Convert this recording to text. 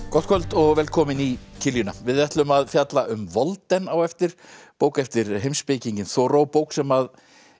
gott kvöld og velkomin í kiljuna við ætlum að fjalla um á eftir bók eftir heimspekinginn bók sem